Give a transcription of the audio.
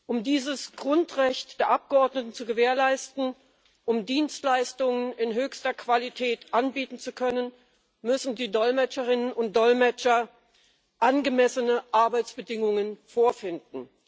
Um dieses Grundrecht der Abgeordneten zu gewährleisten, um Dienstleistungen in höchster Qualität anbieten zu können, müssen die Dolmetscherinnen und Dolmetscher angemessene Arbeitsbedingungen vorfinden.